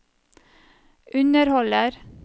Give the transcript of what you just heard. underholder